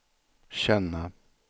känna